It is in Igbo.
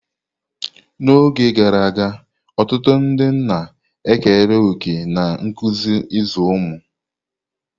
N'oge gara aga, ọtụtụ ndị nna ekere òkè na nkuzi ịzụ ụmụ.